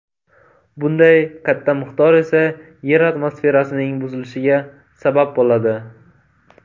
Bunday katta miqdor esa yer atmosferasining buzilishiga sabab bo‘ladi.